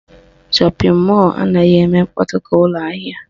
Shọpịn mọlụ anaghị eme mkpọtụ ka ụlọ ahịa